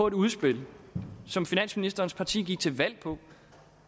et udspil som finansministerens parti gik til valg på